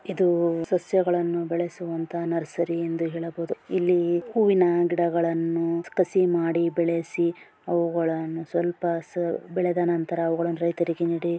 ಇದು ಸಸ್ಯಗಳನ್ನು ಬೆಳೆಸುವಂತಹ ನರ್ಸರಿ ಎಂದು ಹೇಳಬೊಹುದು. ಇಲ್ಲಿ ಹೂವಿನ ಗಿಡಗಳನ್ನು ಕಸಿ ಮಾಡಿ ಬೆಳೆಸಿ ಅವುಗಳನ್ನು ಸ್ವಲ್ಪ ಬೆಳೆದ ನಂತರ ಅವುಗಳನ್ನು ರೈತರಿಗೆ ನೀಡಿ.